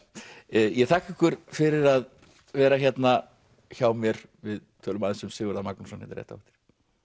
ég þakka ykkur fyrir að vera hérna hjá mér við tölum aðeins um Sigurð a Magnússon hérna rétt á eftir